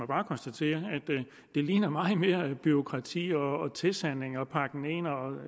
bare konstatere at det ligner meget mere bureaukrati og tilsanding og at man pakker